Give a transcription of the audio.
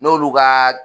N'olu ka